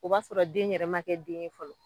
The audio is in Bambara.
O b'a sɔrɔ den yɛrɛ ma kɛ den ye fɔlɔ.